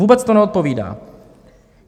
Vůbec to neodpovídá.